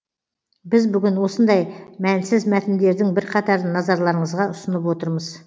біз бүгін осындай мәнсіз мәтіндердің бірқатарын назарларыңызға ұсынып отырмыз